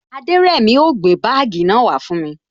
Aderemi o gbé bagii náà wa fún mi